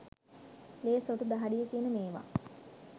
ලේ සොටු දහඩිය කියන මේවා.